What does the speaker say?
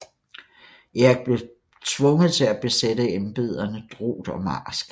Erik blev tvunget til at besætte embederne drot og marsk